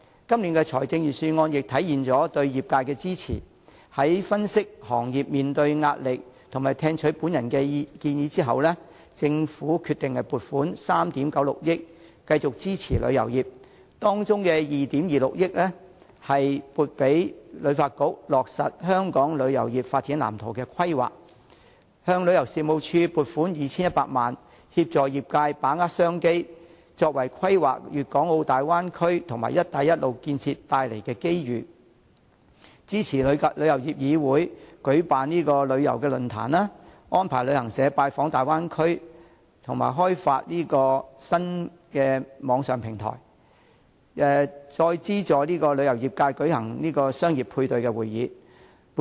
今年預算案也體現了對業界的支持，在分析行業面對的壓力和聽取我的建議後，政府決定撥款3億 9,600 萬元繼續支持旅遊業，其中包括把2億 2,600 萬元撥予香港旅遊發展局落實《香港旅遊業發展藍圖》的規劃，向旅遊事務署撥款 2,100 萬元，協助業界把握商機，規劃粵港澳大灣區及"一帶一路"建設帶來的機遇，支持香港旅遊業議會舉辦旅遊論壇、安排旅行社訪問大灣區及開發新網上平台和資助旅遊業界舉行商業配對會等。